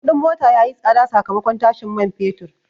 Kudin mota ya yi tsada sakamakon tashin man fetur.